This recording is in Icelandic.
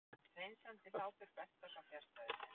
Hreinsandi hlátur Berta, svo fjarstæðukennt.